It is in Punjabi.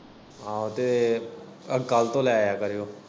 ਆਹੋ ਤੇ ਕੱਲ ਤੋਂ ਲੈ ਆ ਕਰਿਉ।